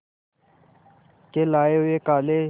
के लाए हुए काले